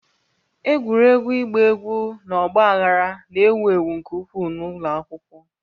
Egwuregwu ịgba egwu na ọgba aghara na-ewu ewu nke ukwuu n'ụlọ akwụkwọ